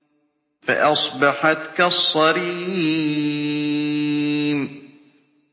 فَأَصْبَحَتْ كَالصَّرِيمِ